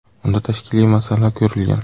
Unda tashkiliy masala ko‘rilgan.